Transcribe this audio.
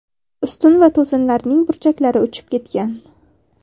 Ustun va to‘sinlarning burchaklari uchib ketgan.